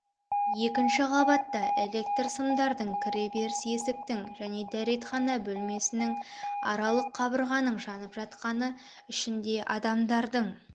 екінші қабатта электр сымдардың кіреберіс есіктің және дәретхана бөлмесінің аралық қабырғаның жанып жатқаны ішінде адамдардың